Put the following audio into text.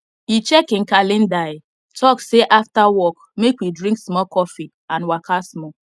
e check him calendarhe talk say after work make we drink small coffee and waka small